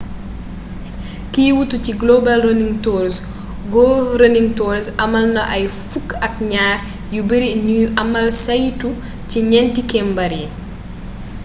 kiy wuutu ci global running tours go running tours amalna ay fukk ak ñaar yu beeri ñuy amal saytu ci ñénti kembaar yi